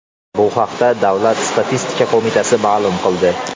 Bu haqda Davlat statistika qo‘mitasi ma’lum qildi .